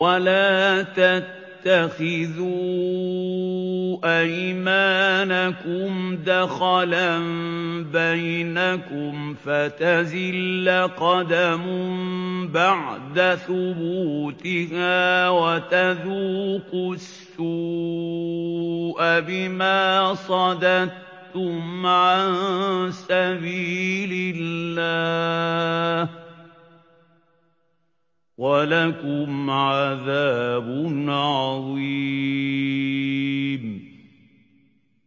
وَلَا تَتَّخِذُوا أَيْمَانَكُمْ دَخَلًا بَيْنَكُمْ فَتَزِلَّ قَدَمٌ بَعْدَ ثُبُوتِهَا وَتَذُوقُوا السُّوءَ بِمَا صَدَدتُّمْ عَن سَبِيلِ اللَّهِ ۖ وَلَكُمْ عَذَابٌ عَظِيمٌ